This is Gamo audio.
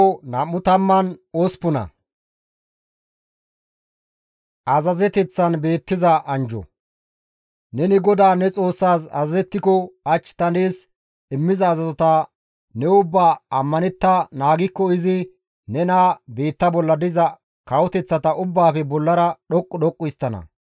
Neni GODAA ne Xoossaas azazettiko hach ta nees immiza azazota ne ubbaa ammanettada naagikko izi nena biitta bolla diza kawoteththata ubbaafe bollara dhoqqu dhoqqu histtana.